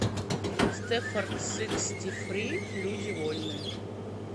стэффорд сиксти фри люди вольные